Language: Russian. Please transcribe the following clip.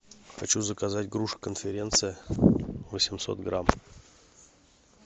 хочу заказать груши конференция восемьсот грамм